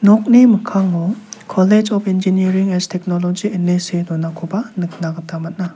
nokni mikkango kolej op enjinearing S teknoloji ine see donakoba nikna gita man·a.